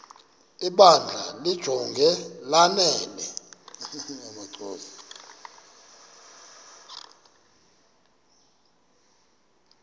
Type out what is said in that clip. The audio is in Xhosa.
ibandla limjonge lanele